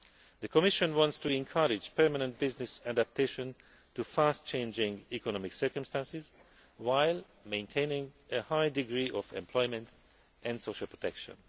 losses. The Commission wants to encourage permanent business adaptation to swiftly changing economic circumstances while maintaining a high degree of employment and social protection.